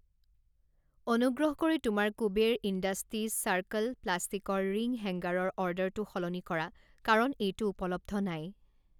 অনুগ্ৰহ কৰি তোমাৰ কুবেৰ ইণ্ডাষ্টিজ চাৰ্কল প্লাষ্টিকৰ ৰিং হেংগাৰৰ অৰ্ডাৰটো সলনি কৰা কাৰণ এইটো উপলব্ধ নাই।